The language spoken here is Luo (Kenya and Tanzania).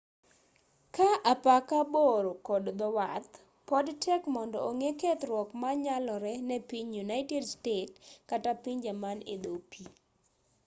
kaa apaka bor kod dhowath pod tek mondo ong'e kethruok manyalore ne piny united states kata pinje man edho pii